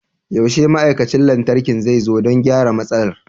Yaushe ma'aikacin lantarki zai zo don gyara matsalar?